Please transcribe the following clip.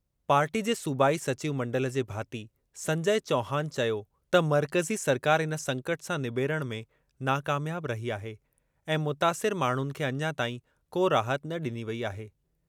Party जे सूबाई सचिव मंडल जे भाती संजय चौहान चयो त मर्कज़ी सरकार इन संकट सां निबेरणु में नाकामयाब रही आहे ऐं मुतासिर माण्हुनि खे अञा ताईं को राहत न ॾिनी वेई आहे।